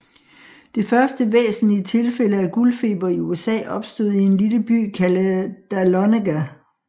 Det første væsentlige tilfælde af guldfeber i USA opstod i en lille by kaldet Dahlonega